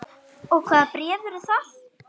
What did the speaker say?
Og hvaða bréf eru það?